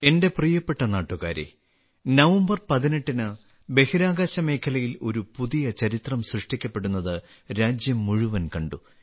എന്റെ പ്രിയപ്പെട്ട നാട്ടുകാരേ നവംബർ 18ന് ബഹിരാകാശ മേഖലയിൽ ഒരു പുതിയ ചരിത്രം സൃഷ്ടിക്കപ്പെടുന്നത് രാജ്യം മുഴുവൻ കണ്ടു